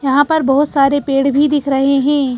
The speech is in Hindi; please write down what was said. यहां पर बहोत सारे पेड़ भीं दिख रहें हैं।